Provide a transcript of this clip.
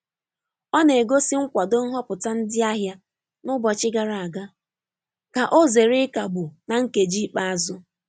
Ọ na-egosi nkwado nhọpụta ndị ahịa n’ụbọchị gara aga ,ka ọ zere ịkagbụ na nkeji ikpeazụ.